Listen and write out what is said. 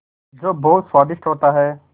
जो बहुत स्वादिष्ट होता है